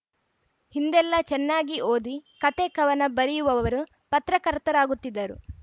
ಹಿಂದೆಲ್ಲಾ ಚೆನ್ನಾಗಿ ಓದಿ ಕಥೆಕವನ ಬರೆಯುವವರು ಪತ್ರಕರ್ತರಾಗುತ್ತಿದ್ದರು